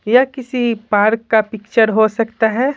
यह किसी पार्क का पिक्चर हो सकता है।